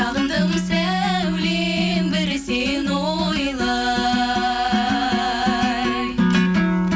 сағындым сәулем бір сені ойлай